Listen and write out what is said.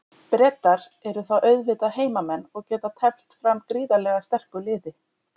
Bretar eru þá auðvitað heimamenn og geta teflt fram gríðarlega sterku liði.